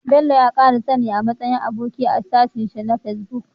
Bello ya kara sani a matsayin aboki a shafin shi na facebook